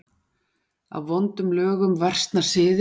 Af vondum lögum versna siðir.